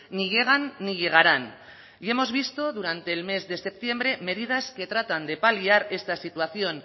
ni llegan ni llegarán y hemos visto durante el mes de septiembre medidas que tratan de paliar esta situación